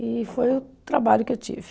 E foi o trabalho que eu tive.